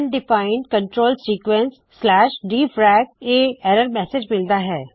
undefined control sequence dfrac ਇਹ error message ਮਿਲਦਾ ਹੈ